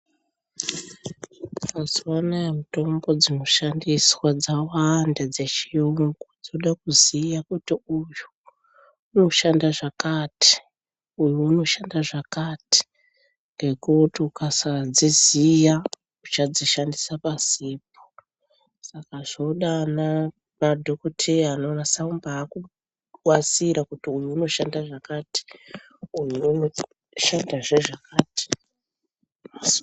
Mazuva anaa mitombo dzinoshandiswa dzawanda dzechiyungu. Dzoda kuziya kuti uyu unoshanda zvakati uyu unoshanda zvakati, ngekuti ukasadziziya uchadzishandisa pasipo. Saka zvoda ana dhokodheya anonasa kumbabasira kuti uyu unoshanda zvakati uyu unoshandazve zvakati.